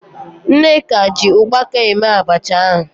Nneka ji ụkpaka eme abacha ahụ.